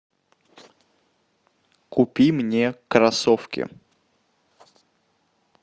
купи мне кроссовки